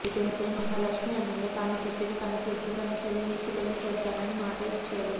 అయితే మహాలక్ష్మి అన్నయ్య తాను చెప్పిన పని చేస్తే తన చెల్లిని ఇచ్చి పెళ్లి చేస్తానని మాట ఇస్తాడు